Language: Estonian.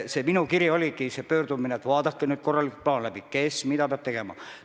See minu kiri oli palve, et vaadake nüüd korralikult plaan läbi, kes mida peab tegema.